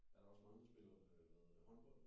Er der også mange der spiller øh hvad hedder det håndbold